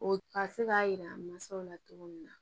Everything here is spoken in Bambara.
O ka se k'a jira mansaw la cogo min na